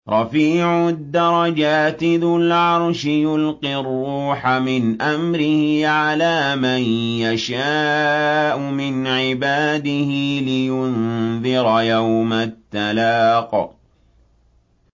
رَفِيعُ الدَّرَجَاتِ ذُو الْعَرْشِ يُلْقِي الرُّوحَ مِنْ أَمْرِهِ عَلَىٰ مَن يَشَاءُ مِنْ عِبَادِهِ لِيُنذِرَ يَوْمَ التَّلَاقِ